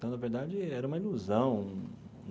Então na verdade, era uma ilusão.